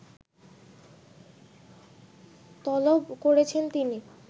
তলব করেছেন তিনি